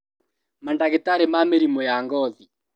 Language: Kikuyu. Mandagĩtarĩ ma mĩrimũ ya ngothi